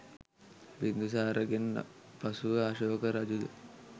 බින්දුසාරගෙන් පසුව අශෝක රජුද